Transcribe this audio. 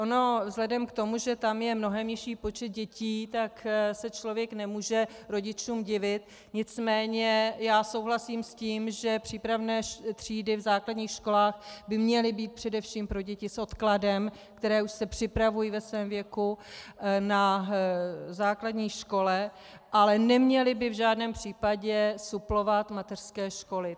Ono vzhledem k tomu, že tam je mnohem nižší počet dětí, tak se člověk nemůže rodičům divit, nicméně já souhlasím s tím, že přípravné třídy v základních školách by měly být především pro děti s odkladem, které už se připravují ve svém věku na základní škole, ale neměly by v žádném případě suplovat mateřské školy.